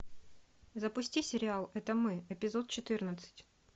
запусти сериал это мы эпизод четырнадцать